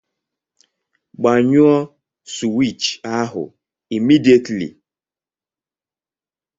Gbanyụọ sụwich ahụ immediately!